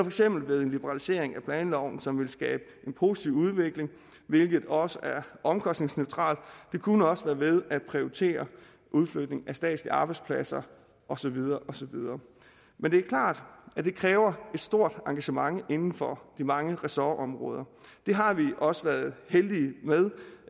eksempel ved en liberalisering af planloven som ville skabe en positiv udvikling hvilket også er omkostningsneutralt det kunne også være ved at prioritere udflytning af statslige arbejdspladser og så videre og så videre men det er klart at det kræver et stort engagement inden for de mange ressortområder det har vi også været heldige